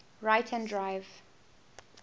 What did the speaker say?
right hand drive